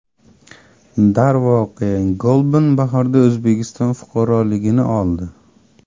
Darvoqe, Golban bahorda O‘zbekiston fuqaroligini oldi.